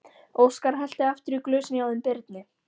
Óskar hellti aftur í glösin hjá þeim Birni.